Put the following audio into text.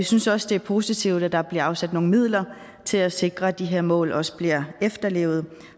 synes også det er positivt at der bliver afsat nogle midler til at sikre at de her mål også bliver efterlevet